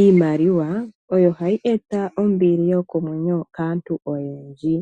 Iimaliwa oyo hayi eta ombili yokomwenyo kaatu oyendji.